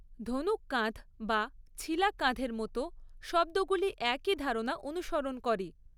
‘ধনুক কাঁধ’ বা ‘ছিলা কাঁধ’ এর মতো শব্দগুলি একই ধারণা অনুসরণ করে।